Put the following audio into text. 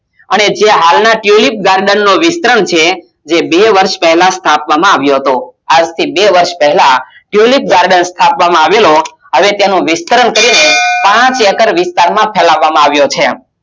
અને જે હાલ ના tulip garden નું વિસ્તરણ છે તે બે વર્ષ પેહલા સ્થાપવામાં આવ્યો હતો આજ થી બે વર્ષ પેહલા tulip garden સ્થાપવમાં આવેલો હવે તેનું વિસ્તરણ કરીને પાંચ acres વિસ્તાર ફેલાવામાં આવ્યો છે